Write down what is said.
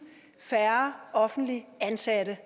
færre offentligt ansatte